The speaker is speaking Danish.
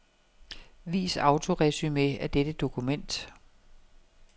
Vis autoresumé af dette dokument.